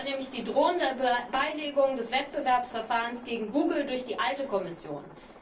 Das war nämlich die drohende Beilegung des Wettbewerbsverfahrens gegen Google durch die alte Kommission.